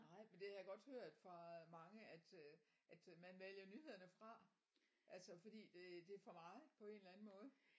Nej men det har jeg godt hørt fra mange at øh at øh man vælger nyhederne fra altså fordi det det for meget på en eller anden måde